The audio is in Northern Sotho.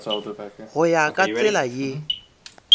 go ya ka tsela ye